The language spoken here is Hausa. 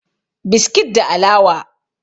biskit da alawa